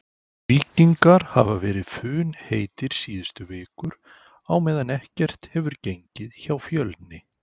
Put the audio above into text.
Víkingar hafa verið funheitir síðustu vikur á meðan ekkert hefur gengið hjá Fjölni.